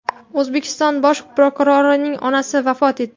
O‘zbekiston bosh prokurorining onasi vafot etdi.